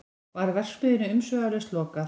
Var verksmiðjunni umsvifalaust lokað